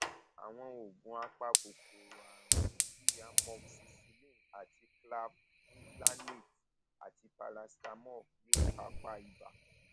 àwọn oògùn apakòkòrò àrùn bíi amoxicillin àti clavulanate àti paracetamol yóò kápá ibà